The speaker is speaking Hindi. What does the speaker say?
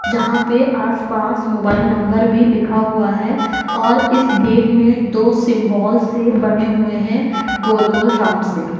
यहां पे आस-पास मोबाइल नंबर भी लिखा हुआ है और इस गेट में दो सिंबॉल से बने हुए हैं गोल-गोल राउंड से।